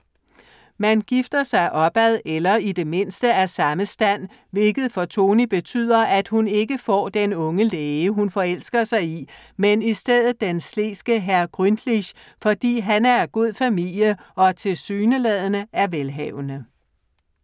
Man gifter sig opad eller i det mindste af samme stand, hvilket for Tony betyder, at hun ikke får den unge læge hun forelsker sig i, men i stedet den sleske hr. Grünlich, fordi han er af god familie og, tilsyneladende, er velhavende.